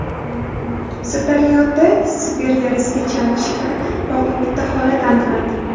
Sirdaryoda Sibir yarasiga chalinish bilan bog‘liq bitta holat aniqlandi.